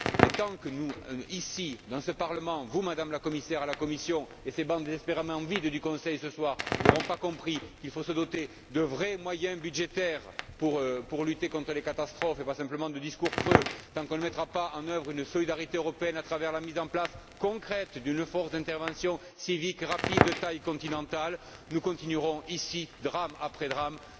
Mais, tant que nous, ici, dans ce Parlement, vous, Madame la Commissaire, à la Commission, et les absents de ces bancs désespérément vides du Conseil ce soir, tant que tous nous n'aurons pas compris qu'il faut se doter de vrais moyens budgétaires pour lutter contre les catastrophes, et ne pas se contenter de discours creux, tant qu'on ne mettra pas en œuvre une solidarité européenne à travers la mise en place concrète d'une force d'intervention civique, rapide et de taille continentale, nous continuerons ici, drame après drame,